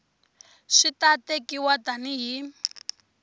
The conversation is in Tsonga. swi ta tekiwa tani hi